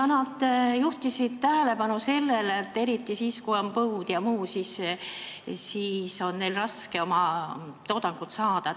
Nad juhtisid tähelepanu sellele, et eriti siis, kui on põud, on neil raske toodangut saada.